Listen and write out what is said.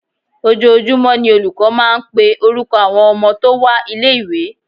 Ojoojúmọ́ ni olùkọ́ máa ń máa ń pe orúkọ àwọn ọmọ tó wá ilé ìwé.